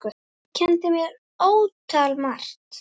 Þú kenndir mér ótal margt.